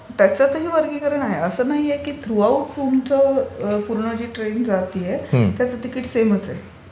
So त्याच्यातही वर्गीकरण आहे. असं नाहीये की थृआऊट तुम्ही जी ट्रेन जातेय त्याचं टिकिट सेमच आहे.